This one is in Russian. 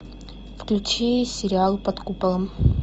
включи сериал под куполом